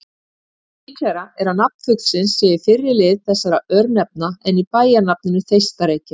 Líklegra er að nafn fuglsins sé í fyrri lið þessara örnefna en í bæjarnafninu Þeistareykir.